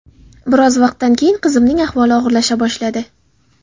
Biroz vaqtdan keyin qizimning ahvoli og‘irlasha boshladi.